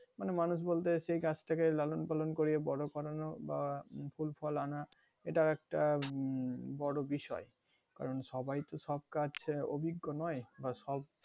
মানে মানুষ বলতে সেই গাছটা কে লালন পালন করিয়ে বড় করানো বা নতুন ফল আনা এটাও একটা উম বড় বিষয় কারন সবাই তো সব কাজে অভিজ্ঞ নয়,